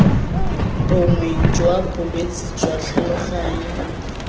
bongwe jwa bolwetse jwa tlhaloganyo